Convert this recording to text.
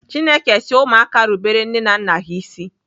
Chineke si ụmụaka rubere nne na nna ha ịsị.